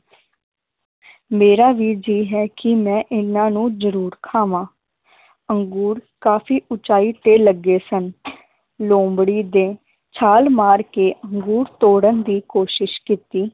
ਮੇਰਾ ਵੀ ਜੀ ਹੈ ਕਿ ਮੈ ਇਹਨਾਂ ਨੂੰ ਜਰੂਰ ਖਾਵਾਂ ਅੰਗੂਰ ਕਾਫੀ ਉਚਾਈ ਤੇ ਲੱਗੇ ਸਨ ਲੋਮੜੀ ਦੇ ਛਾਲ ਮਾਰ ਕੇ ਅੰਗੂਰ ਤੋੜਨ ਦੀ ਕੋਸ਼ਿਸ਼ ਕੀਤੀ